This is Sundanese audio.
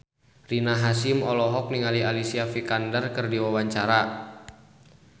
Rina Hasyim olohok ningali Alicia Vikander keur diwawancara